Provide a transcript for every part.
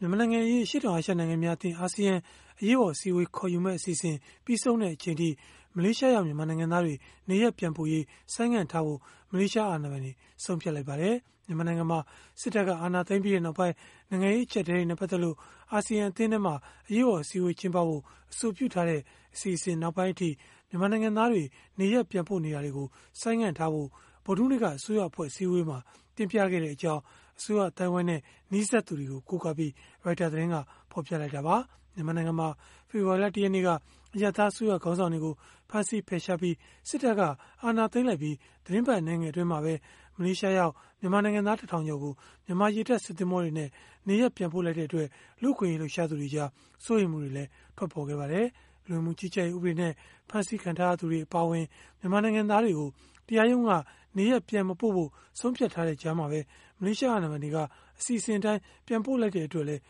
မြန်မာနိုင်ငံအရေး အရှေ့တောင်အာရှ နိုင်ငံများအသင်း (Asean) အရေးပေါ် အစည်းအဝေးခေါ်ယူမယ့် အစီအစဉ် ပြီးဆုံးတဲ့ အချိန်အထိ မလေးရှားရောက် မြန်မာနိုင်ငံသားတွေ နေရပ်ပြန်ပို့ရေး ဆိုင်းငံ့ထားဖို့ မလေးရှားအာဏာပိုင်တွေ ဆုံးဖြတ်လိုက်ပါတယ်။ မြန်မာနိုင်ငံမှာ စစ်တပ်က အာဏာသိမ်းပြီးနောက်ပိုင်း နိုင်ငံရေး အကျပ်အတည်းတွေနဲ့ ပတ်သက်လို့ အာဆီယံအသင်းမှာ အရေးပေါ် အစည်းအဝေး ကျင်းပဖို့ အဆိုပြုထားတဲ့ အစီအစဉ် နောက်ပိုင်းအထိ မြန်မာနိုင်ငံသားတွေ နေရပ်ပြန်ပို့နေတာတွေကို ဆိုင်းငံထားဖို့ ဗုဒ္ဓဟူးနေ့က အစိုးရအဖွဲ့ အစည်းအဝေးမှာ တင်ပြခဲ့ကြောင်း အစိုးရအသိုင်းအဝန်းနဲ့ နီးစပ်သူတွေကို ကိုးကားပြီး ရိုက်တာ သတင်းက ဖော်ပြခဲ့တာပါ။ မြန်မာနိုင်ငံမှာ ဖေဖော်ဝါရီလ ၁ ရက်နေ့က အရပ်သား အစိုးရခေါင်းဆောင်တွေကို ဖမ်းဆီးဖယ်ရှားပြီး စစ်တပ်က အာဏာသိမ်းလိုက်ပြီး သီတင်းပတ် အနည်းငယ် အတွင်းမှာပဲ မလေးရှားရောက် မြန်မာနိုင်ငံသား ၁ ထောင်ကျော်ကို မြန်မာရေတပ် စစ်သင်္ဘောတွေနဲ့ နေရပ်ပြန်ပို့လိုက်တဲ့အတွက် လူ့အခွင့်အရေး လှုပ်ရှားသူတွေကြား စိုးရိမ်မှုတွေလည်း ထွက်ပေါ်ခဲ့ပါတယ်။ လူဝင်မှုကြီးကြပ်ရေး ဥပဒေနဲ့ ဖမ်းဆီးခံထားရသူတွေ အပါအဝင် မြန်မာနိုင်ငံသားတွေကို တရားရုံးက နေရပ်ပြန်မပို့ဖို့ ဆုံးဖြတ်ထားတဲ့ ကြားမှာပဲ မလေးရှား အာဏာပိုင်တွေက အစီအစဉ်အတိုင်း ပြန်ပို့လိုက်တဲ့အတွက်လည်း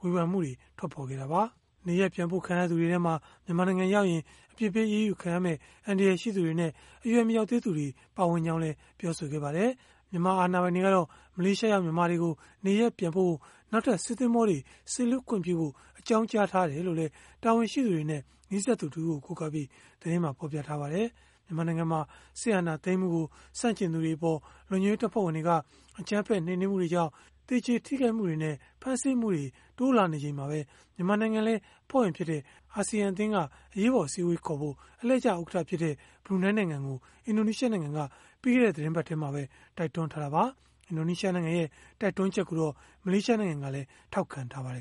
ဝေဖန်မှုတွေ ထွက်ပေါ်ခဲ့တာပါ။ နေရပ်ပြန်ပို့ခံရသူတွေထဲမှာ မြန်မာနိုင်ငံရောက်ရင် အပြစ်ပေး အရေးယူခံရမယ့် အန္တရာယ်ရှိသူတွေနဲ့ အရွယ်မရောက်သေးသူတွေ ပါဝင်ကြောင်းလည်း ပြောဆိုခဲ့ကြပါတယ်။ မြန်မာအာဏာပိုင်တွေကတော့ မလေးရှားရောက် မြန်မာတွေကို နေရပ်ပြန်ပို့ဖို့ နောက်ထပ် စစ်သင်္ဘောတွေ စေလွှတ်ခွင့်ပြုဖို့ အကြောင်းကြားထားတယ်လို့လည်း တာဝန်ရှိသူတွေနဲ့ နီးစပ်သူတဦးကို ကိုးကားပြီး သတင်းက ဖော်ပြပါတယ်။ မြန်မာနိုင်ငံမှာ စစ်အာဏာသိမ်းမှုကို ဆန့်ကျင်သူတွေအပေါ် လုံခြုံရေးတပ်ဖွဲ့တွေက အကြမ်းဖက် နှိမ်နင်းမှုတွေကြောင့် သေကျေထိခိုက်မှုတွေနဲ့ ဖမ်းဆီးမှုတွေ တိုးလာနေချိန်မှာပဲ မြန်မာနိုင်ငံလည်း အဖွဲ့ဝင်ဖြစ်တဲ့ အာဆီယံအသင်းက အရေးပေါ် အစည်းအဝေးခေါ်ဖို့ အလှည့်ကျဥက္ကဋ္ဌဖြစ်တဲ့ ဘရူနိုင်းနိုင်ငံကို အင်ဒိုနီးရှားနိုင်ငံက ပြီးခဲ့တဲ့ သီတင်းပတ်ထဲမှာပဲ တိုက်တွန်းထားတာပါ။ အင်ဒိုနီးရှား နိုင်ငံရဲ့ တိုက်တွန်းချက်ကိုတော့ မလေးရှားနိုင်ငံကလည်း ထောက်ခံထားပါတယ်